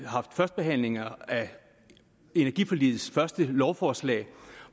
haft første behandling af energiforligets første lovforslag